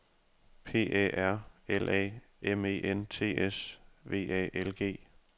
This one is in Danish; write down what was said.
P A R L A M E N T S V A L G